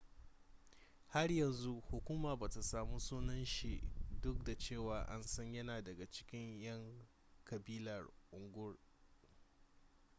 har yanzu hukuma bata samu sunan shi duk da cewa an san yana daga cikin yan kabilar uighur